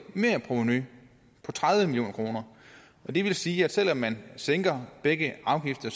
merprovenu på tredive million kroner og det vil sige at selv om man sænker begge afgifter